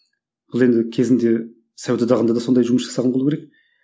бұл енді кезінде совет одағында да сондай жұмыс жасаған болу керек